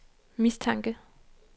mistanke